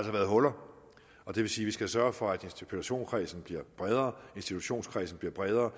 har været huller og det vil sige skal sørge for at personkredsen bliver bredere og institutionskredsen bliver bredere